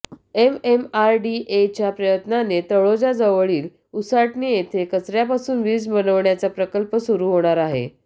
एमएमआरडीएच्या प्रयत्नाने तळोजाजवळील उसाटणे येथे कचऱ्यापासून वीज बनवण्याचा प्रकल्प सुरू होणार आहे